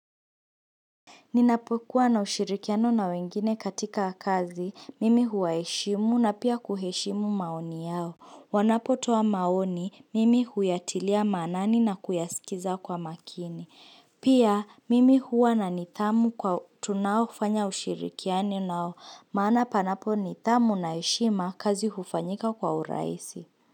Ninapokuwa na ushirikiano na wengine katika kazi, mimi huwaheshimu na pia kuheshimu maoni yao. Wanapotoa maoni, mimi huyatilia manani na kuyasikiza kwa makini. Pia, mimi huwa na nithamu kwa tunao hufanya ushirikiano nao, maana panapo nithamu na heshima kazi hufanyika kwa uraisi.